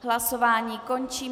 Hlasování končím.